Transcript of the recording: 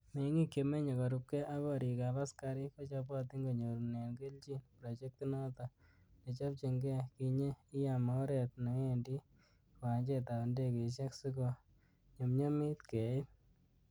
Mengik che menye korubge ak gorik ab askarik, kochobotin konyorunen kelchin projectinoton ,nechobchinge kinye lam oret newendi kiwanjetab indigeisiek, si ko nyumnyumit keit.